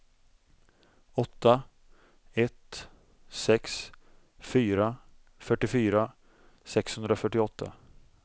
åtta ett sex fyra fyrtiofyra sexhundrafyrtioåtta